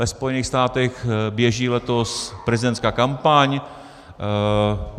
Ve Spojených státech běží letos prezidentská kampaň.